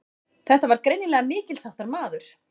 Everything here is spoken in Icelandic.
Þetta var greinilega mikilsháttar maður.